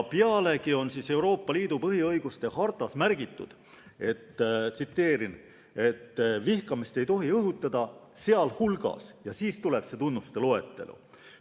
Pealegi on Euroopa Liidu põhiõiguste hartas "sealhulgas" ja alles siis tuleb tunnuste loetelu.